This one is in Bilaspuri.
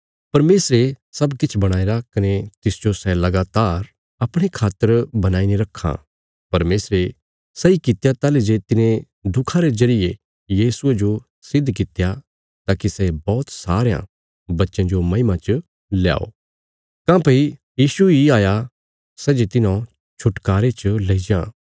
परमेशरे सब किछ बणाईरा कने तिसजो सै लगातार अपणे खातर बणाईने रखां परमेशरे सही कित्या ताहली जे तिने दुखा रे जरिये यीशुये जो सिद्ध कित्या ताकि सै बौहत सारयां बच्चयां जो महिमा च पहुँचाये काँह्भई यीशु इ हाया सै जे तिन्हौं छुटकारे च लेई जां